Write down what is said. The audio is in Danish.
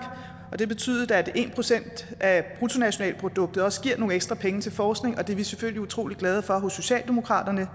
og det betyder at en procent af bruttonationalproduktet også giver nogle ekstra penge til forskning og det er vi selvfølgelig utrolig glade for socialdemokratiet